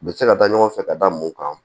U bɛ se ka taa ɲɔgɔn fɛ ka da mun kan